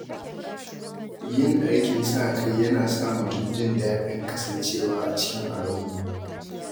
Yin aikin sa-kai yana sa mutum jin daɗin kasancewa cikin al’umma.